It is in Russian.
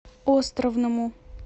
островному